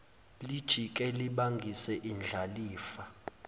lijike libangise indlalifa